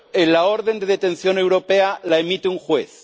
La orden de detención europea la emite un juez